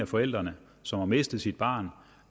forældre som har mistet sit barn